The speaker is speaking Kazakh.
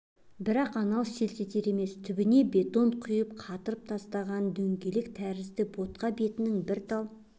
бірақ анау селт етер емес түбіне бетон құйып қатырып тастаған діңгек тәрізді ботқа бетінің бір тал